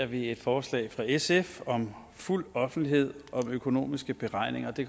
vi et forslag fra sf om fuld offentlighed om økonomiske beregninger og det